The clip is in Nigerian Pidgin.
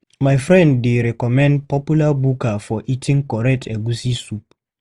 My friend dey recommend popular buka for eating correct egusi soup.